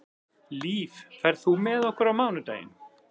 Líf, ferð þú með okkur á mánudaginn?